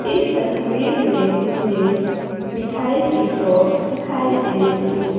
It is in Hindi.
इस तस्वीर में मुझे मिठाई की शॉप दिखाई दे रही है।